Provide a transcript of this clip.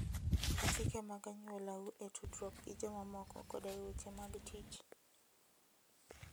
Luw chike mag anyuolau e tudruok gi jomamoko koda e weche mag tich.